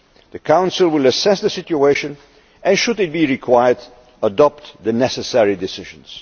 depend. The Council will assess the situation and, should it be required, adopt the necessary decisions.